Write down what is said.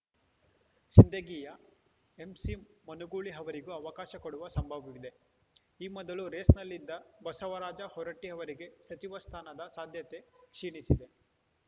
ಸಿಂಧಗಿಯ ಎಂಸಿಮನುಗೂಳಿ ಅವರಿಗೂ ಅವಕಾಶ ಕೊಡುವ ಸಂಭವವಿದೆ ಈ ಮೊದಲು ರೇಸ್‌ನಲ್ಲಿದ್ದ ಬಸವರಾಜ ಹೊರಟ್ಟಿ ಅವರಿಗೆ ಸಚಿವ ಸ್ಥಾನದ ಸಾಧ್ಯತೆ ಕ್ಷೀಣಿಸಿದೆ